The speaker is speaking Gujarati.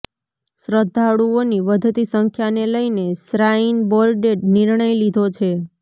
શ્રદ્ધાળુઓની વધતી સંખ્યાને લઈને શ્રાઈન બોર્ડે નિર્ણય લીધો છે